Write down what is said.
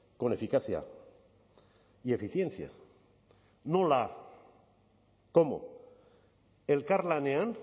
con eficacia y eficiencia nola cómo elkarlanean